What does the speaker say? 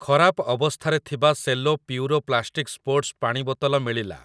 ଖରାପ ଅବସ୍ଥାରେ ଥିବା ସେଲୋ ପ୍ୟୁରୋ ପ୍ଲାଷ୍ଟିକ୍ ସ୍ପୋର୍ଟ୍ସ୍ ପାଣି ବୋତଲ ମିଳିଲା ।